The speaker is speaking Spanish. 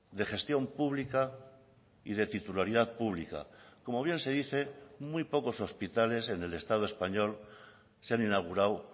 de gestión pública y de titularidad pública como bien se dice muy pocos hospitales en el estado español se han inaugurado